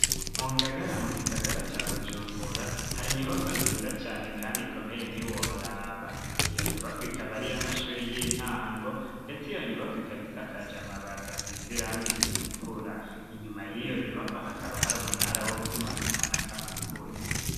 Mu Ngagara, mu gisagara ca Bujumbura, hari inyubakwa nziza cane, kandi ikomeye, ntiworaba; iyo nyubakwa, ikaba ari iy'amashuri y'intango; ndetse iyo nyubakwa, ikaba isakaje amabati, asize irangi ritukura; inyuma y'iyo nyubakwa, hakaba hari umunara, wo gutumatumanako amakuru.